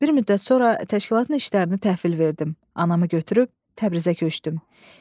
Bir müddət sonra təşkilatın işlərini təhvil verdim, anamı götürüb Təbrizə köçdüm.